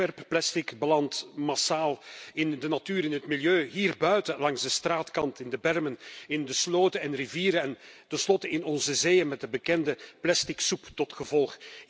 Wegwerpplastic belandt massaal in de natuur en het milieu, hierbuiten, langs de straatkant, in de bermen, in de sloten en rivieren en tenslotte in onze zeeën, met de bekende plasticsoep tot gevolg.